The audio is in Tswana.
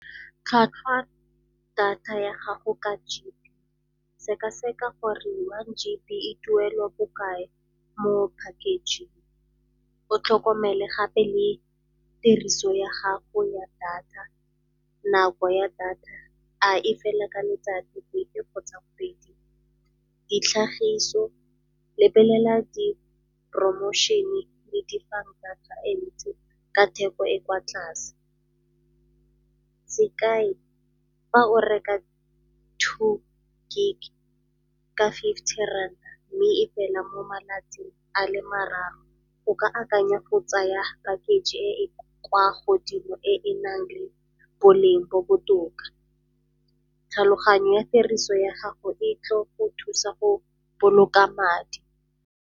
Tlhwatlhwa data ya gago ka G_B. Sekaseka gore one G_B e duelwa bo kae mo package-ing. O tlhokomele gape le tiriso ya gago ya data, nako ya data, a e fela ka letsatsi, dibeke kgotsa kgwedi. Ditlhagiso, lebelela di-promotion-e le dibanka tsa ka theko e e kwa tlase. Sekai fa o reka two Gig ka fifty rand mme e fela mo malatsing a le mararo go ka akanya go tsaya package e e kwa godimo e e nang le boleng bo botoka. Tlhaloganyo ya tiriso ya gago e tlo go thusa go boloka madi.